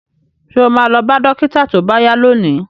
Ṣo ma lọ bá dókítà tó bá yá lónìí?